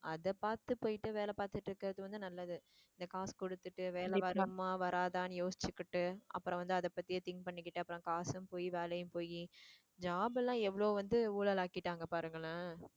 அதை பார்த்து போயிட்டு வேலை பார்த்துட்டு இருக்கிறது வந்து நல்லது இந்த காசு கொடுத்துட்டு வேலை வருமா வராதான்னு யோசிச்சுகிட்டு அப்புறம் வந்து அதை பத்தியே think பண்ணிக்கிட்டு அப்புறம் காசும் பொய் வேலையும் போயி job எல்லாம் எவ்வளவோ வந்து ஊழல் ஆக்கிட்டாங்க பாருங்களேன்